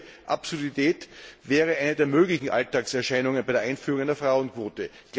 Eine solche Absurdität wäre eine der möglichen Alltagserscheinungen bei der Einführung einer Frauenquote.